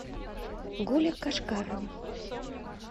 гуля кашкарова